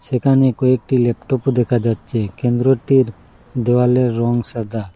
এখানে কয়েকটি ল্যাপটপও দেখা যাচ্ছে কেন্দ্রটির দেওয়ালের রং সাদা।